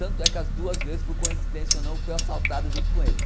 Tanto é que as duas vezes, por coincidência ou não, eu fui assaltado junto com ele.